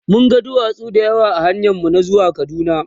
mun ga duwatsu da yawa ahanyan mu na zuwa kaduna